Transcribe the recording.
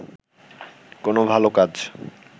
কোন ভাল কাজ